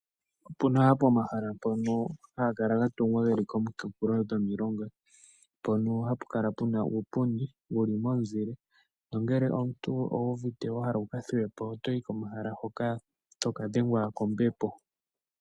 Opu na omahala mpono haga kala ga tungilwa geli komikunkulo dhomilonga, mpono hapu kala puna uupundi wuli momunzile nongele omuntu owu uvite wa hala wuka thuwepo otoyi komahala hoka etoka dhengwa kombepo.